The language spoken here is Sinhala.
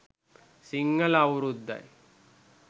සිංහල අවුරුද්දයි.